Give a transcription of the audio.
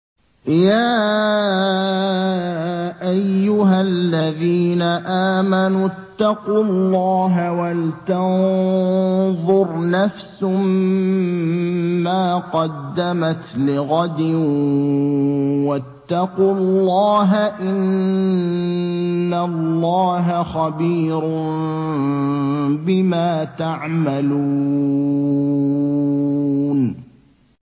يَا أَيُّهَا الَّذِينَ آمَنُوا اتَّقُوا اللَّهَ وَلْتَنظُرْ نَفْسٌ مَّا قَدَّمَتْ لِغَدٍ ۖ وَاتَّقُوا اللَّهَ ۚ إِنَّ اللَّهَ خَبِيرٌ بِمَا تَعْمَلُونَ